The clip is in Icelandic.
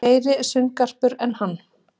Meiri sundgarpur en hann.